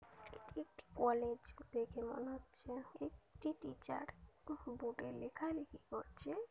একটি কলেজ দেখে মনে হচ্ছে একটি টিচার বোর্ড -এ লেখা লেখি করছে।